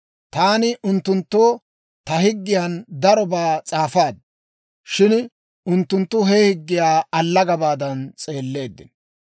Taani unttunttoo ta higgiyan darobaa s'aafaad; shin unttunttu he higgiyaa allagabaadan s'eelleeddino.